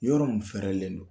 Yɔrɔ min fɛrɛlen don